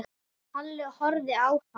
Halli horfði á hann.